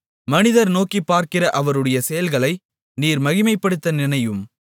மனிதர் நோக்கிப்பார்க்கிற அவருடைய செயல்களை நீர் மகிமைப்படுத்த நினையும்